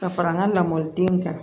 Ka fara n ka lamɔlidenw kan